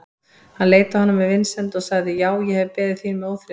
Hann leit á hann með vinsemd og sagði:-Já, ég hef beðið þín með óþreyju.